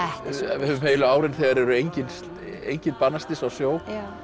við höfum heilu árin þegar eru engin engin banaslys á sjó